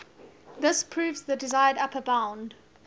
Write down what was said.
this proves the desired upper bound